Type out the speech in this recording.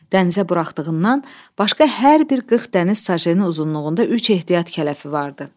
Dənizə buraxdığından başqa hər bir 40 dəniz sajen uzunluğunda üç ehtiyat kələfi vardı.